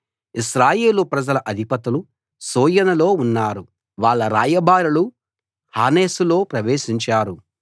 ఇశ్రాయేలు ప్రజల అధిపతులు సోయనులో ఉన్నారు వాళ్ళ రాయబారులు హానేసులో ప్రవేశించారు